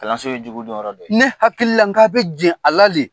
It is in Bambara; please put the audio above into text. Kalanso ye jugu dɔn yɔrɔ dɔ ye. Ne hakili la k'a bɛ jɛn a la le.